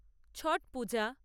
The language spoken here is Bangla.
ছট পূজা